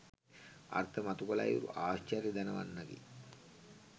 අර්ථ මතු කළ අයුරු ආශ්චර්ය දණවන්නකි.